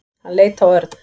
Hann leit á Örn.